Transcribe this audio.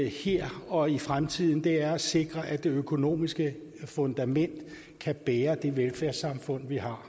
her og i fremtiden er at sikre at det økonomiske fundament kan bære det velfærdssamfund vi har